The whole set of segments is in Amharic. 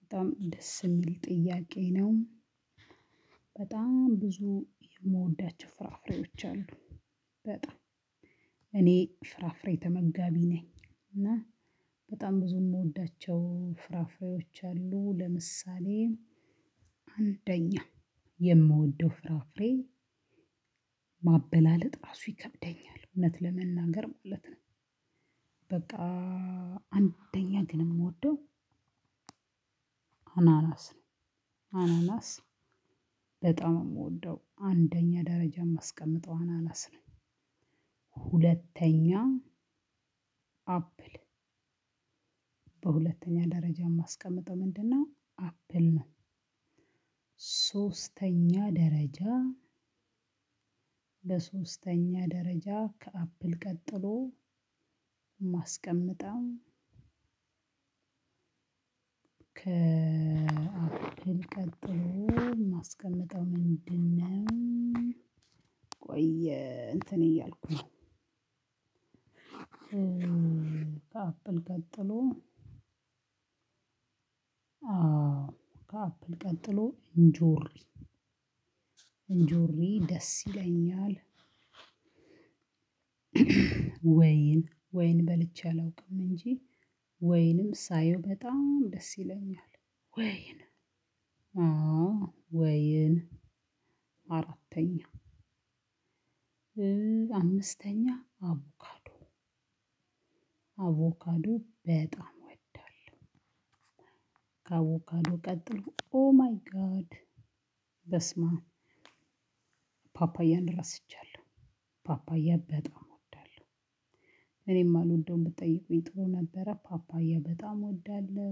በጣም ደስ የሚል ጥያቄ ነው። በጣም ብዙ የምወዳቸው ፍራፍሬዎች አሉ። በጣም እኔ ፍራፍሬ ተመጋቢ ነኝ እና- በጣም ብዙ የምወዳቸው ፍራፍሬዎች አሉ። ለምሳሌ:- አንደኛ የምወደው ፍራፍሬ ማበላለጥ ራሱ ይከብደኛል እውነት ለመናገር ማለት ነው። በቃ- ግን የምወደው አናናስ ነው። አናናስ በጣም- የምወደው አንደኛ ደረጃ የማስቀምጠው አናናስ ነው። ሁለተኛ- አፕል በሁለተኛ ደረጃ የማስቀምጠው ምንድነው አፕል ነው። ሶስተኛ ደረጃ ለሶስተኛ ደረጃ ከአፕል ቀጥሎ- የማስቀምጠው ከአፕል ቀጥሎ የማስቀምጠው ምንድን ነው- ቆይ እንትን እያልኩ ነው። ከአፕል ቀጥሎ አፕል ቀጥሎ ኢንጆሪ ኢንጆሪ ደስ ይለኛል። ወይን ወይን በልቼ አላውቅም እንጂ። ወይንም ሳየው በጣም ደስ ይለኛል። ወይን አዎ ወይን አራተኛ። አምስተኛ አቮካዶ አቮካዶ በጣም እወዳለሁ። ከአቮካዶ ቀጥሎ ኦ ማይ ጋድ በስማም ፓፓያን ረስቻለሁ። ፓፓያ በጣም እወዳለሁ። እኔ እማልወደውን ብትጠይቁኝ ጥሩ ነበረ። ፓፓያ በጣም እወዳለሁ።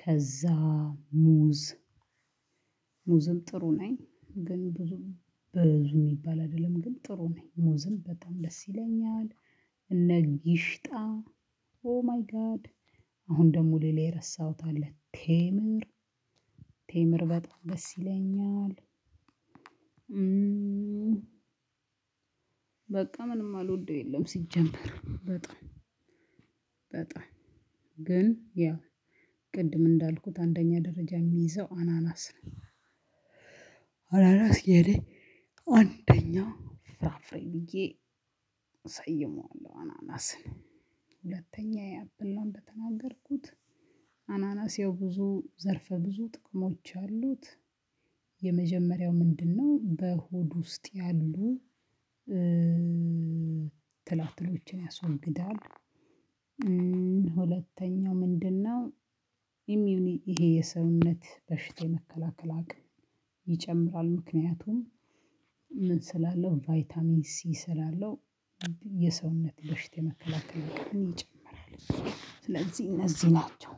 ከዛ ሙዝ ሙዝም ጥሩ ነኝ ግን ብዙ ብዙ የሚባል አይደለም። ግን ጥሩ ነኝ። ሙዝም በጣም ደስ ይለኛል። እነ ጊሽጣ ኦ ማይ ጋድ- አሁን ደግሞ ሌላ የረሳሁት አለ። ቴምር ቴምር በጣም ደስ ይለኛል። በቃ ምንም የማልወደው የለም ሲጀመር በጣም በጣም። ግን ያው ቅድም እንዳልኩት አንደኛ ደረጃ የሚይዘው አናናስ ነው። አናናስ የኔ አንደኛ ፍራፍሬ ብዬ እሰይመዋለሁ አናናስን። ሁለተኛ የአፕል ነው እንደተናገርኩት። አናናስ ያው ብዙ ዘርፈ ብዙ ጥቅሞች አሉት። የመጀመሪያው ምንድን ነው በሆድ ውስጥ ያሉ ትላትሎችን ያስወግዳል። ሁለተኛው ምንድነው ኢሚዩኒ ይሄ የሰውነት በሽታ የመከላከል አቅም ይጨምራል። ምክንያቱም ምን ስላለው ቫይታሚን ሲ ስላለው። የሰውነት በሽታ የመከላከል አቅምን ይጨምራል። ስለዚህ እነዚህ ናቸው።